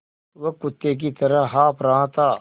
वह कुत्ते की तरह हाँफ़ रहा था